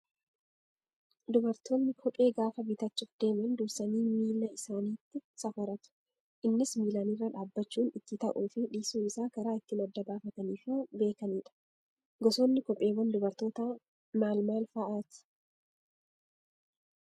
Dubartoonni kophee gaafa bitachuuf deeman dursanii miila isaaniitti safaratu. Innis miilaan irra dhaabbachuun itti ta'uu fi dhiisuu isaa karaa ittiin adda baafatanii fi beekanidha. Gosoonni kopheewwan dubarootaa maal maal fa'aati?